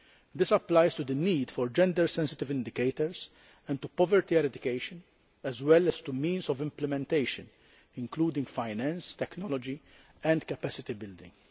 This applies to the need for gender sensitive indicators and to poverty eradication as well as to the means of implementation, including finance, technology and capacity building.